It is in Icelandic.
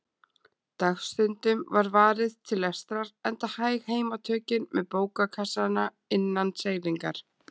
Dagstundum var varið til lestrar, enda hæg heimatökin með bókakassana innan seilingar.